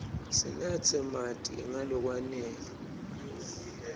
sinatse marti nga lokwanele